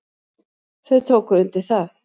Þau tóku undir það.